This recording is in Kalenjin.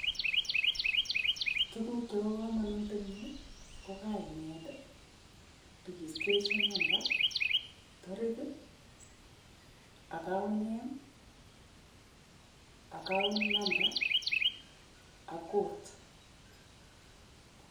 Tuguk chebo komonut eng yu ko kainet, registration number, tarik, account name, account number ak kot.